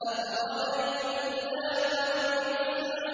أَفَرَأَيْتُمُ اللَّاتَ وَالْعُزَّىٰ